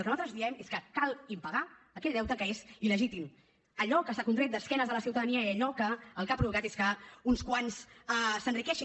el que nosaltres diem és que cal impagar aquell deute que és il·legítim allò que s’ha contret d’esquenes a la ciutadania i allò que el que ha provocat és que uns quants s’enriqueixin